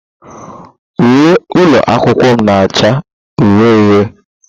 Uwe ụlọ akwụkwọ m na-acha uhie uhie.